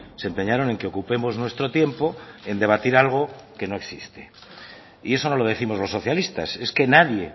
se empeñaron en que ocupemos nuestro tiempo en debatir algo que no existe y eso no lo décimos los socialistas es que nadie